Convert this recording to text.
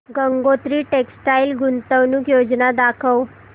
Gangotri textile गुंतवणूक योजना दाखव